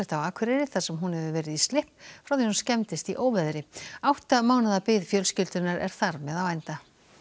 á Akureyri þar sem hún hefur verið í slipp frá því hún skemmdist í óveðri átta mánaða bið fjölskyldunnar er þar með á enda